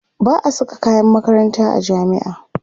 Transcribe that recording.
ba'a Saka kayan makaranta a jami'a